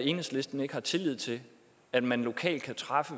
enhedslisten ikke har tillid til at man lokalt kan træffe